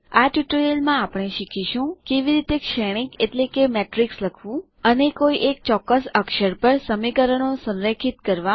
આ ટ્યુટોરીયલમાં આપણે શીખીશું કેવી રીતે શ્રેણીક એટલે કે મેટ્રિક્સ લખવું અને કોઈ એક ચોક્કસ અક્ષર પર સમીકરણો સંરેખિત કરવા